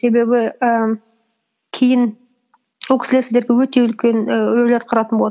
себебі і кейін ол кісілер сіздерге өте үлкен і рөл атқаратын болады